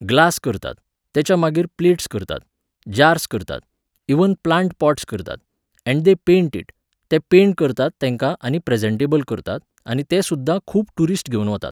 glass करतात, तेच्या मागीर प्लेट्स करतात, जार्स करतात, इव्हन प्लांट पॉट्स करतात, अँड दे पेंट इट, ते पेंट करतात तेंका आनी प्रॅजेंटेबल करतात आनी तें सुद्दां खूब टुरिस्ट घेवन वतात